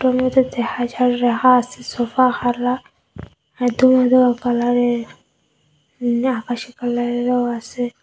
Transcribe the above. রাহা আসে সোফা মেদো মেদো কালারের মনে আকাশি কালারেরও আসে।